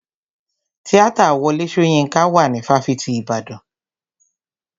Tíátà Wọlé Soyinka wà ní fáfitì ìbàdàn.